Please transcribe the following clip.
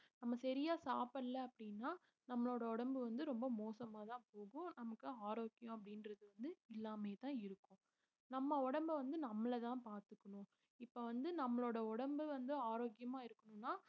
நம்ம சரியா சாப்பிடல அப்படின்னா நம்மளோட உடம்பு வந்து ரொம்ப மோசமாதான் போகும் நமக்கு ஆரோக்கியம் அப்படின்றது வந்து இல்லாமையேதான் இருக்கும் நம்ம உடம்பை வந்து நம்மளதான் பார்த்துக்கணும் இப்ப வந்து நம்மளோட உடம்பு வந்து ஆரோக்கியமா இருக்கணும்ன்னா